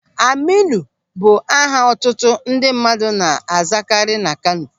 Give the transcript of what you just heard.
Aminu bụ aha ọtụtụ ndị mmadụ na-azakari na Kano.